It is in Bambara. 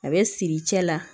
A bɛ siri cɛ la